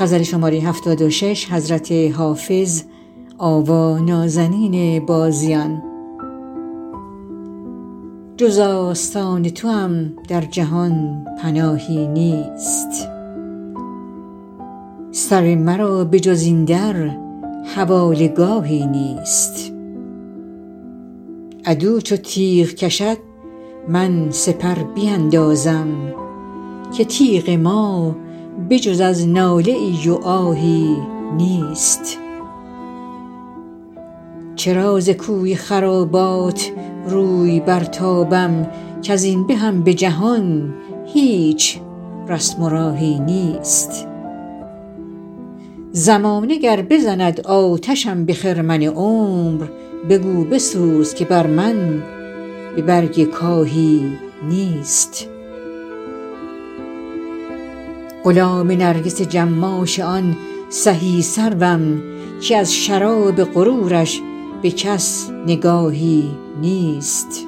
جز آستان توام در جهان پناهی نیست سر مرا به جز این در حواله گاهی نیست عدو چو تیغ کشد من سپر بیندازم که تیغ ما به جز از ناله ای و آهی نیست چرا ز کوی خرابات روی برتابم کز این بهم به جهان هیچ رسم و راهی نیست زمانه گر بزند آتشم به خرمن عمر بگو بسوز که بر من به برگ کاهی نیست غلام نرگس جماش آن سهی سروم که از شراب غرورش به کس نگاهی نیست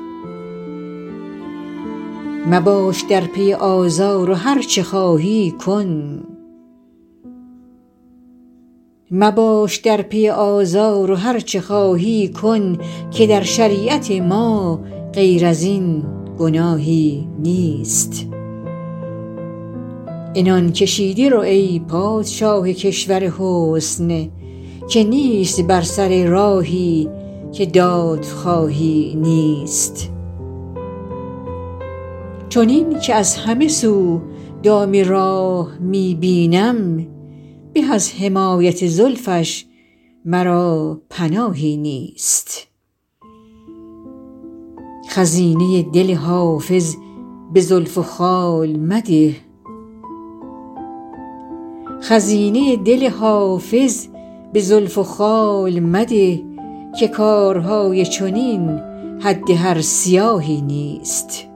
مباش در پی آزار و هرچه خواهی کن که در شریعت ما غیر از این گناهی نیست عنان کشیده رو ای پادشاه کشور حسن که نیست بر سر راهی که دادخواهی نیست چنین که از همه سو دام راه می بینم به از حمایت زلفش مرا پناهی نیست خزینه دل حافظ به زلف و خال مده که کارهای چنین حد هر سیاهی نیست